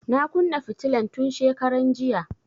Na kunna fitilan tun shekaran jiya